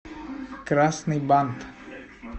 красный бант